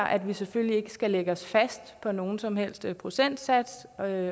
at vi selvfølgelig ikke skal lægge os fast på nogen som helst procentsats og at